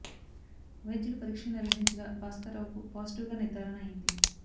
వైద్యులు పరీక్షలు నిర్వహించగా భాస్కర్ రావుకు పాజిటివ్ గా నిర్ధారణ అయింది